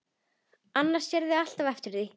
Annars sérðu alltaf eftir því.